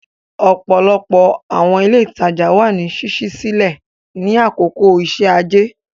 Ọ̀pọ̀lọpọ̀ àwọn ilé ìtajà wà ní ṣíṣí sílẹ̀ ní àkókò iṣẹ́ ajé.